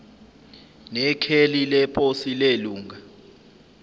nekheli leposi lelunga